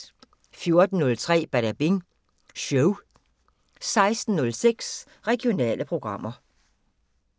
14:03: Badabing Show 16:06: Regionale programmer